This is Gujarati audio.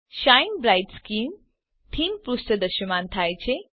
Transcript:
શાઇન બ્રાઇટ સ્કિન થીમ પુષ્ઠ દ્રશ્યમાન થાય છે